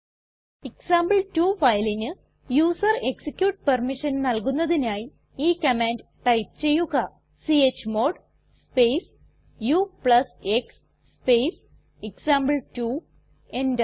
എക്സാംപിൾ2 ഫയലിന് user execute permission നൽകുന്നതിനായി ഈ കമാൻഡ് ടൈപ്പ് ചെയ്യുക chmod space ux space example two enter